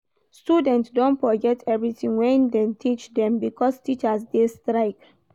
Students don forget everytin wey dem teach dem because teachers dey strike.